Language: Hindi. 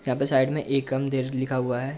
यहाँ पे साइड में एकम लिखा हुआ है।